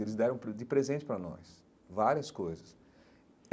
Eles deram de presente para nós várias coisas.